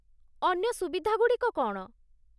ଅନ୍ୟ ସୁବିଧାଗୁଡ଼ିକ କ'ଣ?